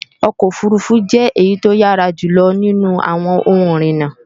ọkọ̀ òfurufú jẹ́ èyí tó yára jùlọ nínú àwọn ohun ìrìnà